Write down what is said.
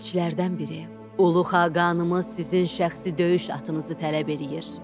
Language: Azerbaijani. Elçilərdən biri, Ulu Xaqanımız sizin şəxsi döyüş atınızı tələb eləyir.